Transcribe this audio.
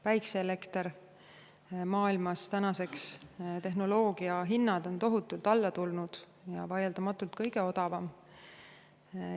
Päikeseelekter – maailmas tänaseks tehnoloogia hinnad on tohutult alla tulnud ja see on vaieldamatult kõige odavam.